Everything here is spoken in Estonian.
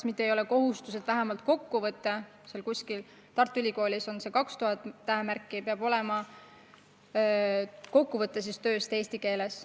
selle üle, et vähemalt kokkuvõte tööst – Tartu Ülikoolis on see umbes 2000 tähemärki – peab olema eesti keeles.